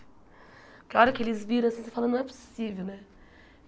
Quee a hora que eles viram assim, você fala, não é possível, né?